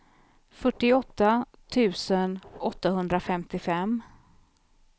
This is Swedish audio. fyrtioåtta tusen åttahundrafemtiofem